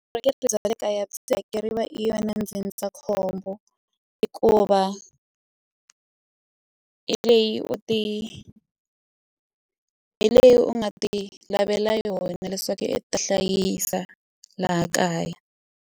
bya le kaya i yona ndzindzakhombo hikuva hi leyi u ti hi leyi u nga ti lavela yona leswaku ta hlayisa laha kaya.